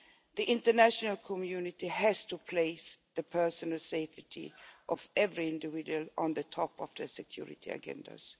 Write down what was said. The international community has to place the personal safety of every individual on the top of their security agendas.